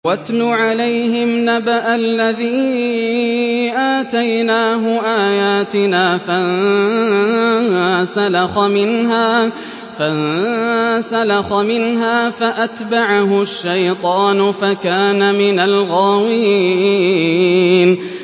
وَاتْلُ عَلَيْهِمْ نَبَأَ الَّذِي آتَيْنَاهُ آيَاتِنَا فَانسَلَخَ مِنْهَا فَأَتْبَعَهُ الشَّيْطَانُ فَكَانَ مِنَ الْغَاوِينَ